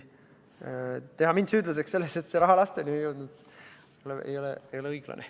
Teha mind süüdlaseks selles, et see raha lasteni ei jõudnud, ei ole õiglane.